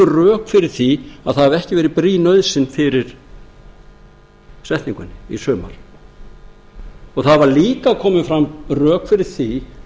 rök fyrir því að það hafi ekki verið brýn nauðsyn fyrir setningunni í sumar það hafa líka komið fram rök fyrir því